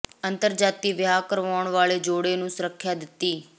ਅੰਤਰ ਜਾਤੀ ਵਿਆਹ ਕਰਾਉਣ ਵਾਲੇ ਜੋੜੇ ਨੂੰ ਸੁਰੱਖਿਆ ਦਿੱਤੀ